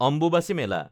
Ambubachi Mela